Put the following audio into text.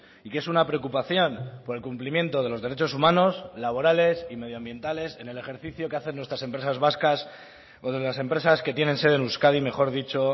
y que es una preocupación por el cumplimiento de los derechos humanos laborales y medioambientales en el ejercicio que hacen nuestras empresas vascas o de las empresas que tienen sede en euskadi mejor dicho